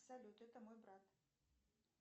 салют это мой брат